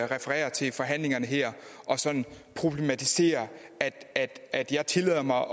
refererer til forhandlingerne her og sådan problematiserer at at jeg tillader mig at